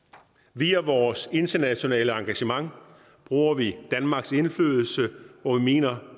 via vores internationale engagement bruger vi danmarks indflydelse der hvor vi mener